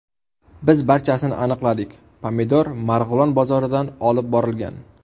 Biz barchasini aniqladik pomidor Marg‘ilon bozoridan olib borilgan.